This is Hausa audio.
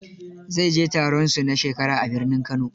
Zai je taronsu na shekara a birnin Kano.